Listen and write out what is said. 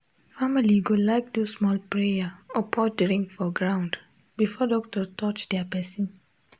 family go like do small prayer or pour drink for ground before doctor touch their person.